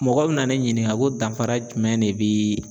Mɔgɔ bɛna ne ɲininka ko danfara jumɛn de bi